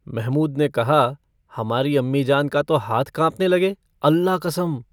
महमूद ने कहा - हमारी अम्मीजान का तो हाथ कांँपने लगे, अल्ला कसम।